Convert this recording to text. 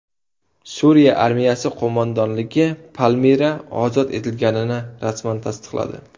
Suriya armiyasi qo‘mondonligi Palmira ozod etilganini rasman tasdiqladi.